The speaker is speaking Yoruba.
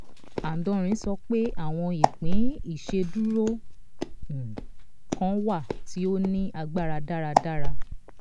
adonri sọ pé àwọn ìpín ìṣedúró um kan wà tí ó ní agbára dáradára.